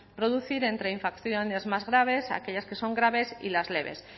producir entre infracciones más graves aquellas que son graves y las leves